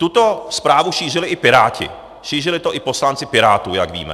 Tuto zprávu šířili i piráti, šířili to i poslanci Pirátů, jak víme.